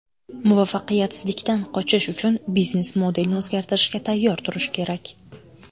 Muvaffaqiyatsizlikdan qochish uchun biznes-modelni o‘zgartirishga tayyor turish kerak.